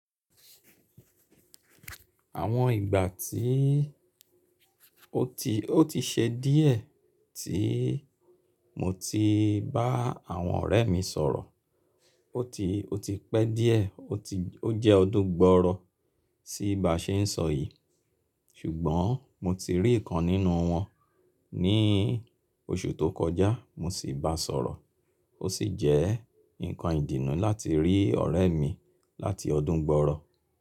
Àwọn ìgbà tí ó ti, ó ti ṣe díẹ̀ tí mo ti bá àwọn ọ̀rẹ́ mi sọ̀rọ̀. Ó ti, ó ti pẹ́ díẹ̀, ó ti, ó jẹ́ ọdún gbọọrọ sí ba ṣe é n sọ yìí. Ṣùgbọ́n mo ti rí ìkan nínú wọn ní oṣù tó kọjá mo sì báa sọ̀rọ̀. Ó sì jẹ́ nǹkan ìdùnnú láti rí ọ̀rẹ́ mi láti ọdún gbọọrọ.